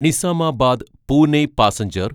Nizamabad Pune passenger